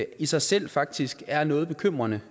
i sig selv faktisk er noget bekymrende